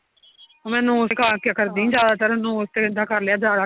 ਮੈਂ nose ਦਿਖਾ ਕੇ ਕਰਦੀ ਜਿਆਦਾਤਰ nose ਤੇ ਇੱਦਾਂ ਕਰਲਿਆ ਜਿਆਦਾ